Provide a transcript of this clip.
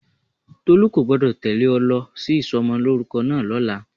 Tolu kò gbọ́dọ̀ tẹ́lẹ̀ ọ lọ sí ìsomolórúkọ náà lọ́la.